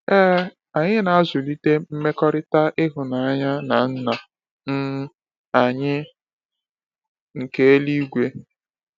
Ee, anyị na-azụlite mmekọrịta ịhụnanya na Nna um anyị nke eluigwe.